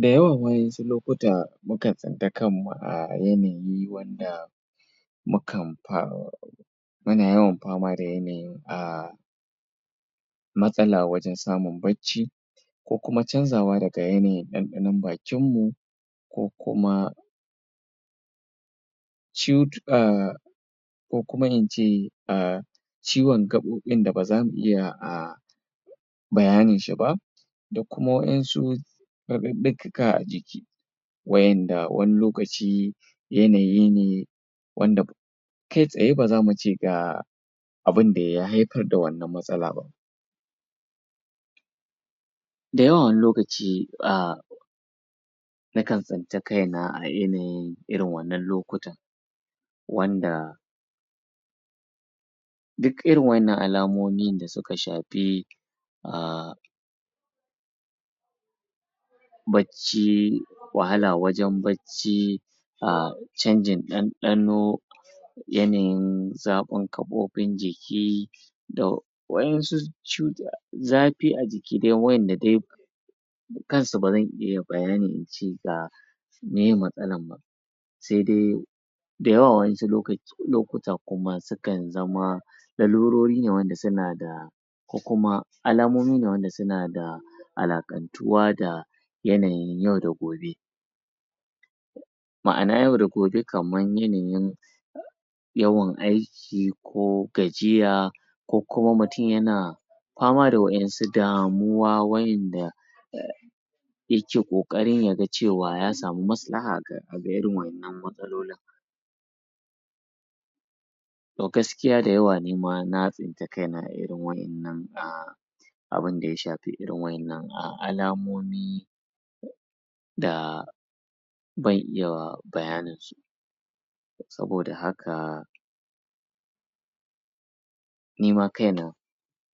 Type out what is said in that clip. da yawan wasu lokata mukan tsinta kanmu a yanayi wanda mukan fa muna yawan fama da yanayin a matsala wajan samun bacci ko kuma canzawa daga yanayin ɗanɗanon bakin mu ko kuma ko kuma ince a ciwon gaɓoɓin da baza mu iya a bayanin shi ba da kuma waƴansu raɗaɗaɗɗika a jiki waƴanda wani lokaci yanayi ne wanda kai tsaye bazamu ce ga abunda ya haifar da wannan matsala ba da yawan wani lokaci a nakan tsinci kaina a yanayin irin wannan lokuta wanda duk irin waƴannan alamomi da suka shafi um bacci wahala wajan bacci a canjin ɗanɗano yanayin zafin gaɓoɓin jiki da waƴansu cutu zafi a jiki waƴanda dai ni kansu bazan iya bayani ince ga miye matsalan ba se dai da yawa waƴansu lokaci lokutan kuma sukan zama larurorine wanda suna da ko kuma alamomine wanda suna da alaƙan tuwa da yanayin yau da gobe ma'ana yau da gobe kaman yanayin yawan aiki ko gajiya ko kuma mutum yana fama da waƴansu damuwa waƴanda yake ƙoƙarin yaga cewa ya samu maslaha ga irin waƴannan matsalolin to gaskiya da yawa nima na tsinci kaina a irin waƴannan a abunda ya shafi irin waƴannan alamomi da ban iya bayanin su saboda haka nima kaina